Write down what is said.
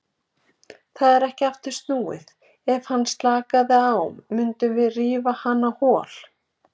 Það er ekki aftur snúið, ef hann slakaði á mundum við rífa hann á hol.